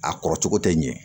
A kɔrɔ cogo tɛ ɲɛ